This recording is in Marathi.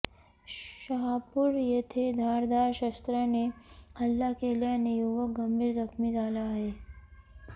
शहापुर येथे धारधार शस्त्राने हल्ला केल्याने युवक गंभीर जखमी झाला आहे